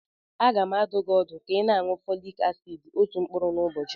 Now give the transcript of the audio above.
Aga m adụ gị ọdụ ka ị na-aṅụ Folik asid otu mkpụrụ n'ụbọchị.